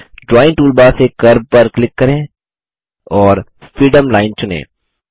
drawing toolbar से curve पर click करें और फ्रीफॉर्म लाइन चुनें